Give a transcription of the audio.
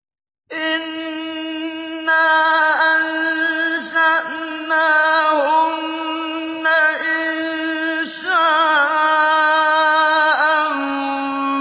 إِنَّا أَنشَأْنَاهُنَّ إِنشَاءً